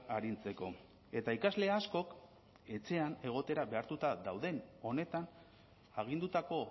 arintzeko eta ikasle askok etxean egotera behartuta dauden honetan agindutako